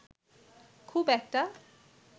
খুব একটা